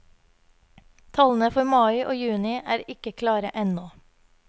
Tallene for mai og juni er ikke klare ennå.